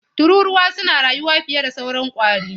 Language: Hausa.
Tururuwa suna rayuwa fiye da sauran ƙwari.